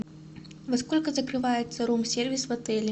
во сколько закрывается рум сервис в отеле